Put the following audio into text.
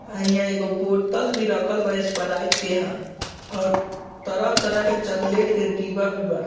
अ यहाँ एगो बोतल भी रखल बा स्प्राइट के ह और तरह-तरह के चॉकलेट के डिब्बा भी बा।